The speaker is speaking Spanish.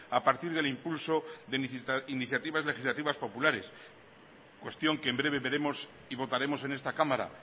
a partir del impulso de iniciativas legislativas populares cuestión que en breve veremos y votaremos en esta cámara